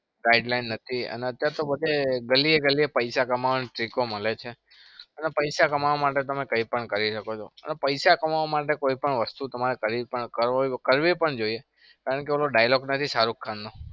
guideline નથી. અને અત્યાર શું બધે ગલીએ ગલીએ પૈસા કમાવાની trick મળે છે. અને પૈસા કમાવા માટે તમે કઈ પણ કરી શકો છો. અને પૈસા કમાવા માટે કોઈ પણ વસ્તુ તમારે કરવી પણ જોઈએ. કારણ કે ઓલો dialogue શાહરૂખ ખાન નો